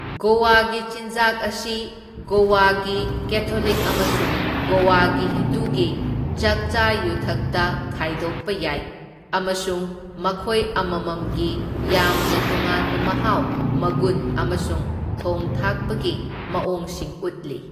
ꯒꯣꯋꯥꯒꯤ ꯆꯤꯟꯖꯥꯛ ꯑꯁꯤ ꯒꯣꯋꯥꯒꯤ ꯀꯦꯊꯣꯂꯤꯛ ꯑꯃꯁꯨꯡ ꯒꯣꯋꯥꯒꯤ ꯍꯤꯟꯗꯨꯒꯤ ꯆꯥꯛꯆꯥ ꯌꯨꯊꯛꯇ ꯈꯥꯏꯗꯣꯛꯄ ꯌꯥꯏ ꯑꯃꯁꯨꯡ ꯃꯈꯣꯏ ꯑꯃꯃꯝꯒꯤ ꯌꯥꯝꯅ ꯇꯣꯉꯥꯟꯕ ꯃꯍꯥꯎ, ꯃꯒꯨꯟ, ꯑꯃꯁꯨꯡ ꯊꯣꯡ ꯊꯥꯛꯄꯒꯤ ꯃꯑꯣꯡꯁꯤꯡ ꯎꯠꯂꯤ꯫